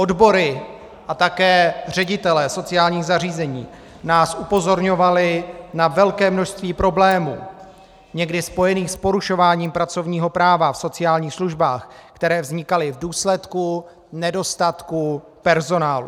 Odbory a také ředitelé sociálních zařízení nás upozorňovali na velké množství problémů někdy spojených s porušováním pracovního práva v sociálních službách, které vznikaly v důsledku nedostatku personálu.